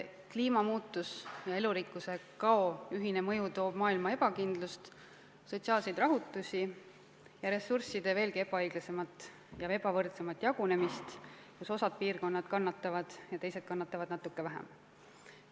Kliimamuutuse ja elurikkuse kao ühine mõju toob maailma ebakindlust, sotsiaalseid rahutusi ja ressursside veelgi ebaõiglasemat ja ebavõrdsemat jagunemist: osa piirkondi kannatab palju ja teised kannatavad natuke vähem.